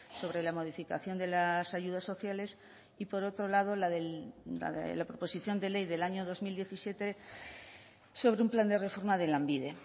sobre la modificación de las ayudas sociales y por otro lado la de la proposición de ley del año dos mil diecisiete sobre un plan de reforma de lanbide